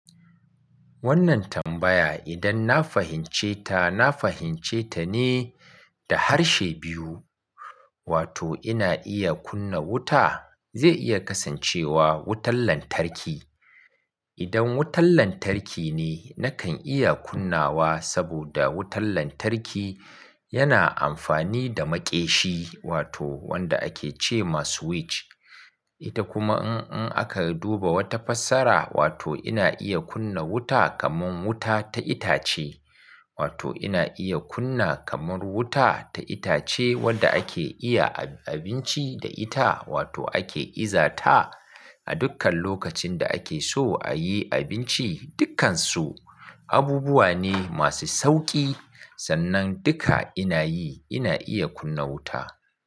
Wannan tambaya idan na fahimce ta, na fahimce ta ne da harshe biyu. Wato ina iya kunna wuta, zai iya kasancewa wutar lantarki. Idan wutar lantarki ne nakan iya kunnawa saboda wutar lantarki yana amfani da maƙeshi wato wanda ake ce ma switch. Ita kuma in aka duba wata fassara wato ina iya kunna wuta kamar wuta ta itace. Wato ina iya kunna kamar wuta ta itace wadda ake iya abinci da ita wato ake iza ta a dukkan lokacin da ake so a yi abinci, dukkansu abubuwa ne masu sauki. Sannan duka ina yi, ina iya kunna wuta.